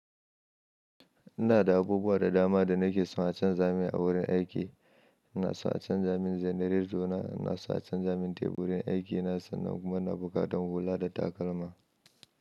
Ina da abubuwa da dama da nakeso a canza mani a wurin aiki ina so a can za min generator na ina so a can za min teburin aiki na sannan kuma ina buƙatan hula da takalma.